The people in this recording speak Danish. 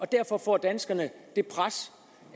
derfor får danskerne det pres